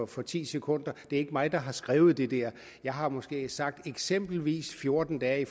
for ti sekunder det er ikke mig der har skrevet det der jeg har måske sagt eksempelvis fjorten dage